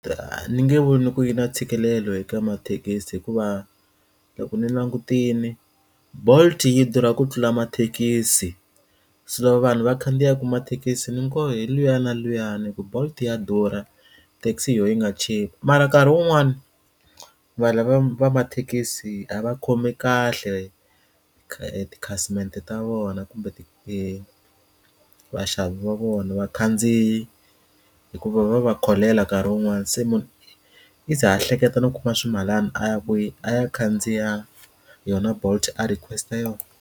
A ni nge voni ku yi na ntshikelelo eka mathekisi hikuva loko ni langutile bolt yi durha ku tlula mathekisi se loko vanhu va khandziyaka mathekisi ni nakoho hi luya na luya hi ku bolt ya durha taxi hi yona yi nga chipa mara nkarhi wun'wani va lava va mathekisi a va khomi kahle tikhasimende ta vona kumbe ti vaxavi va vona vakhandziyi hikuva va va kholela nkarhi wun'wani se munhu yi ze ha hleketa no kuma ximalana a ya ku yi a ya khandziya yona bolt a request yoho.